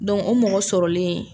Dɔnku o mɔgɔ sɔrɔlen